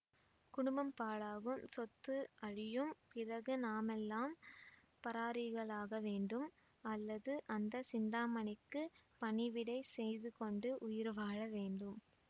குடும்பம் பாழாகும் சொத்து அழியும் பிறகு நாமெல்லாம் பராரிகளாகவேண்டும் அல்லது அந்த சிந்தாமணிக்குப் பணிவிடை செய்துகொண்டு உயிர் வாழவேண்டும்